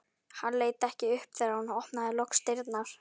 Hann leit ekki upp þegar hún opnaði loks dyrnar.